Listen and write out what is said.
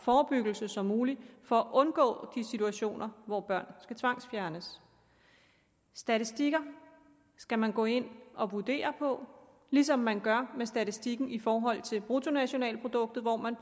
forebyggelse som muligt for at undgå de situationer hvor børn skal tvangsfjernes statistikker skal man gå ind og vurdere ligesom man gør med statistikken i forhold til bruttonationalproduktet hvor man